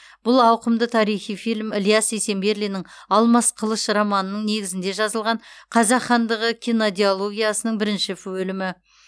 бұл ауқымды тарихи фильм ілияс есенберлиннің алмас қылыш романының негізінде жазылған қазақ хандығы кинодиологиясының бірінші бөлімі